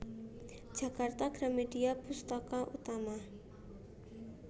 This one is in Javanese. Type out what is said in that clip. Jakarta Gramedia Pustaka Utama